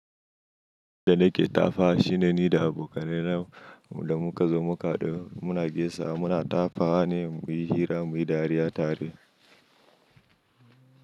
Da nake tafa shi ne ni da abokanai na da muka zo mukaɗa muna gesa muna tafawa ne muyi hira muyi dariya tare.